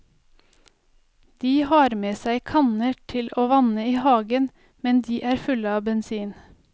De har med seg kanner til å vanne i hagen, men de er fulle av bensin.